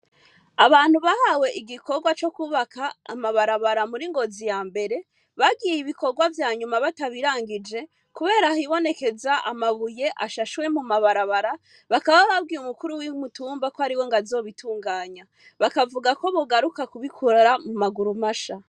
Abantu bahawe igikorwa co kwubaka amabarabara muri Ngozi ya mbere bagiye ibikorwa vyanyuma batabirangije kubera hibonekeza amabuye ashashwe mu mabarabara, bakaba babwiye umukuru w'umutumba ko ariwe ngo azobitunganya, bakavuga ko bogaruka kubikora mu maguru masha.